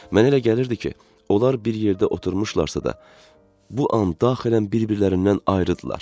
Mənə elə gəlirdi ki, onlar bir yerdə oturmuşlarsa da, bu an daxilən bir-birlərindən ayrı idilər.